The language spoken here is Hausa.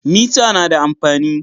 Mita na da amfani.